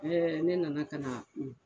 Ee ne nana ka na a ku